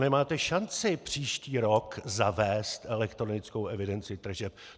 Nemáte šanci příští rok zavést elektronickou evidenci tržeb.